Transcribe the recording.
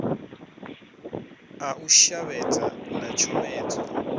a u shavhedza na tshomedzo